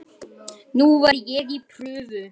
Nú er ég í prufum.